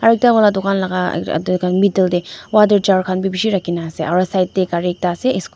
aro ekta wala dukan laga yatey middle tae water jar khan vi bishi rakhi na asa aru side tae gari ekta ase --